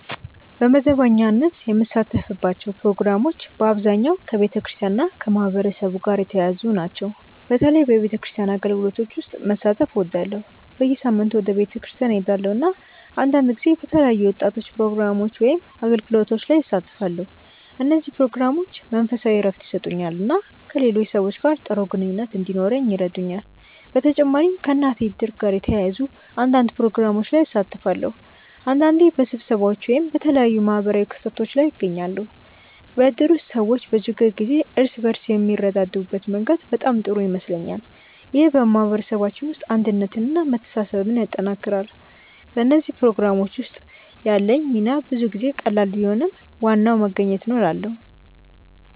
በመደበኛነት የምሳተፍባቸው ፕሮግራሞች በአብዛኛው ከቤተክርስቲያን እና ከማህበረሰብ ጋር የተያያዙ ናቸው። በተለይ በቤተክርስቲያን አገልግሎቶች ውስጥ መሳተፍ እወዳለሁ። በየሳምንቱ ወደ ቤተክርስቲያን እሄዳለሁ፣ እና አንዳንድ ጊዜ በተለያዩ የወጣቶች ፕሮግራሞች ወይም አገልግሎቶች ላይ እሳተፋለሁ። እነዚህ ፕሮግራሞች መንፈሳዊ እረፍት ይሰጡኛል እና ከሌሎች ሰዎች ጋር ጥሩ ግንኙነት እንዲኖረኝ ይረዱኛል። በተጨማሪም ከእናቴ እድር ጋር የተያያዙ አንዳንድ ፕሮግራሞች ላይ እሳተፋለሁ። አንዳንዴ በስብሰባዎች ወይም በተለያዩ ማህበራዊ ክስተቶች ላይ እገኛለሁ። በእድር ውስጥ ሰዎች በችግር ጊዜ እርስ በርስ የሚረዳዱበት መንገድ በጣም ጥሩ ይመስለኛል። ይህ በማህበረሰባችን ውስጥ አንድነትን እና መተሳሰብን ያጠናክራል። በእነዚህ ፕሮግራሞች ውስጥ ያለኝ ሚና ብዙ ጊዜ ቀላል ቢሆንም ዋናው መገኘት ነው እላለ